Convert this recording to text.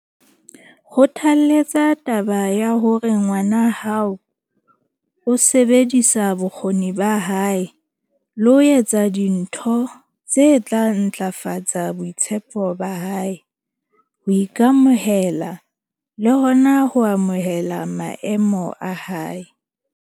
Kgothaletsa taba ya hore ngwana hao o sebedisa bokgoni ba hae le ho etsa dintho tse tla ntlafatsa boitshepo ba hae, ho ika-mohela le hona ho amohela maemo a hae.